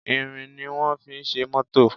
Irin ni wón fi ṣe mótò